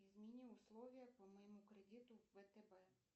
измени условия по моему кредиту в втб